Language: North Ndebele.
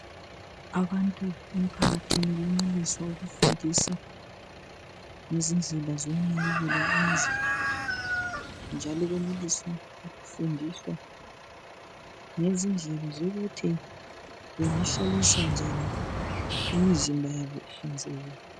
Abantu emphakathini benelisa ukufundiswa ngezindlela zokunakekela imizimba yabo, njalo benelisa ukufundiswa ngezindlela zokuthi bangahlalisa njani imizimba yabo ihlanzekile.